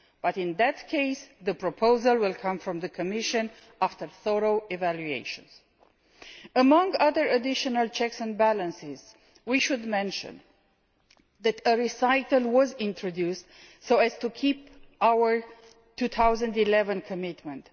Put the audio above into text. But, in that case, the proposal will come from the Commission after thorough evaluation. Among other additional checks and balances, we should mention that a recital was introduced so as to keep our 2011 commitment.